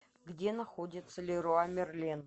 где находится леруа мерлен